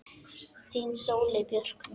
Þín Sóley Björk